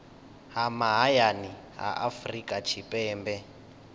ha mahayani ha afrika tshipembe